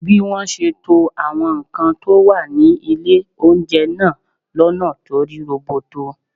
Bí wọ́n ṣe to àwọn nǹkan tó wà ní ilé oúnjẹ náà lọ́nà tó rí roboto